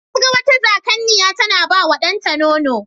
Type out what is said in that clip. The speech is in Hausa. Na ga wata Zakanniya tana bawa ɗanta nono.